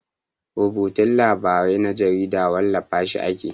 Rubutun labarai na jarida wallafa shi ake.